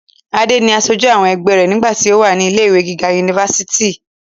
adé ni asojú àwọn ẹgbẹ́ rẹ̀ nígbà tí ó wà ní ilé ìwé gíga unifásitì